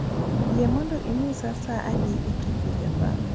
Yie mondo inyisa saa adi e Tokyo Japan